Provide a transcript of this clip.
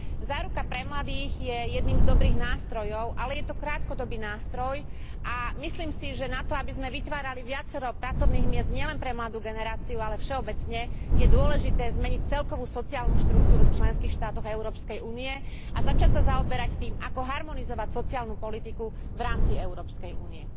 Záruka pre mladých je jedným z dobrých nástrojov, ale je to krátkodobý nástroj, a myslím si, že na to, aby sme vytvárali viacero pracovných miest nielen pre mladú generáciu, ale všeobecne, je dôležité zmeniť celkovú sociálnu štruktúru v členských štátoch Európskej únie a začať sa zaoberať tým, ako harmonizovať sociálnu politiku v rámci Európskej únie.